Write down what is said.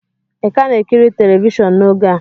Ị ka na-ekiri telivishọn n'oge a?